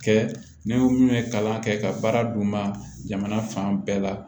Kɛ ni minnu ye kalan kɛ ka baara d'u ma jamana fan bɛɛ la